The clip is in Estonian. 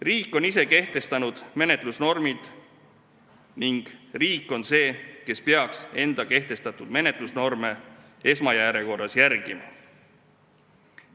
Riik on ise kehtestanud menetlusnormid ning riik on see, kes peaks enda kehtestatud menetlusnorme esmajärjekorras järgima.